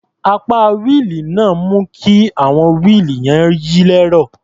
Apẹ wíìlì náà ń mú kí àwọn wíìlì yẹn yí lẹ́rọ̀.